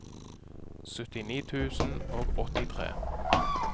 syttini tusen og åttitre